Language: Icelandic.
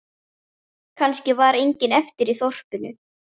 Kannski var enginn eftir í þorpinu.